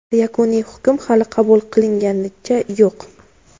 Yakuniy hukm hali qabul qilinganicha yo‘q.